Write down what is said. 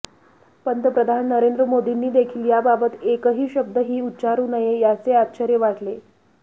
पंतप्रधान नरेंद्र मोदींनी देखील याबाबत एकही शब्द ही ऊच्चारू नये याचे आश्चर्य वाटले